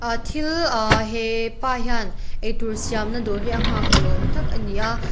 thil ahh hepa hian eitur siamna dawr hi a nghak ni awm tak ani a --